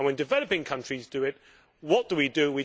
And when developing countries do it, what do we do?